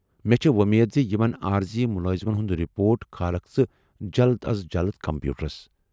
مےٚ چھے وۅمید زِ یِمن عٲرضی مُلٲزمن ہُند رِپوٹ کھارکھ ژٕ جلد از جلد کمپیوٗٹرس۔